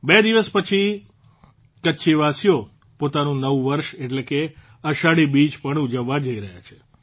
બે દિવસ પછી કચ્છવાસીઓ પોતાનું નવું વર્ષ એટલે કે અષાઢી બીજ પણ ઉજવવા જઇ રહ્યા છે